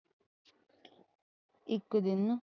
ਇੱਕ ਦਿਨ